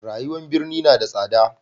rayuwan birni na da tsada